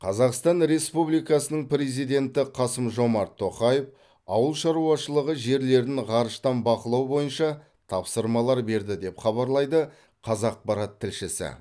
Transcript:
қазақстан республикасының президенті қасым жомарт тоқаев ауыл шаруашылығы жерлерін ғарыштан бақылау бойынша тапсырмалар берді деп хабарлайды қазақпарат тілшісі